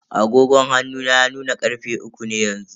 Agogon hannu na ya nuna karfe uku ne yanzu.